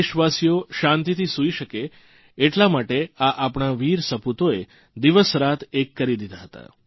દેશવાસીઓ શાંતિથી સુઇ શકે એટલા માટે આ આપણા વીર સપૂતોએ દિવસરાત એક કરી દીધા હતા